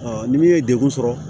ni min ye degun sɔrɔ